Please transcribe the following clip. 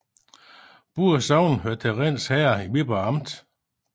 Begge sogne hørte til Rinds Herred i Viborg Amt